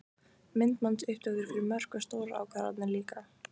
Myndbandsupptökur fyrir mörk og stórar ákvarðanir líka?